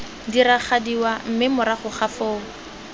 diragadiwa mme morago ga foo